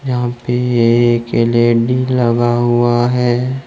यहां पे एक एल_इ_डी लगा हुआ है।